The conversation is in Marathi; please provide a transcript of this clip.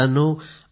मित्रांनो